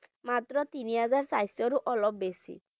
মাত্ৰ তিনি হাজাৰ size ৰো অলপ বেছি